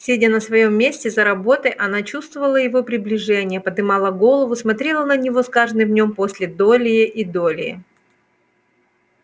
сидя на своём месте за работой она чувствовала его приближение подымала голову смотрела на него с каждым днём долее и долее